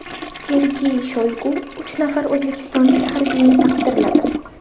Sergey Shoygu uch nafar o‘zbekistonlik harbiyni taqdirladi .